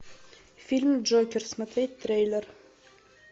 фильм джокер смотреть трейлер